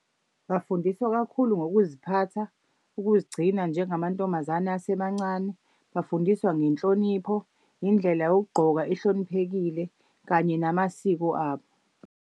Bafundiswa kakhulu ngokuziphatha, ukuzigcina njengamantombazane asemancane. Bafundiswa ngenhlonipho, indlela yokugqoka ehloniphekile kanye namasiko abo.